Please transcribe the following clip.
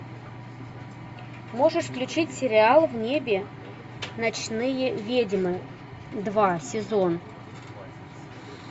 можешь включить сериал в небе ночные ведьмы два сезон